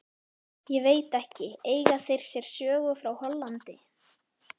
Ég veit ekki, eiga þeir sér sögu frá Hollandi?